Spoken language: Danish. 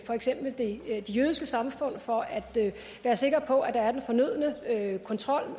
for eksempel de jødiske samfund for at være sikker på at der er den fornødne kontrol